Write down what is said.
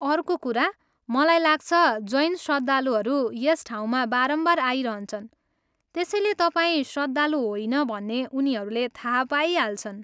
अर्को कुरा, मलाई लाग्छ, जैन श्रद्धालुहरू यस ठाउँमा बारम्बार आइरहन्छन् त्यसैले तपाईँ श्रद्धालु होइन भन्ने उनीहरूले थाहा पाइहाल्छन्।